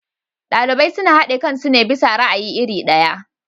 Ɗalibai suna haɗe kansu ne bisa ra'ayi iri ɗaya.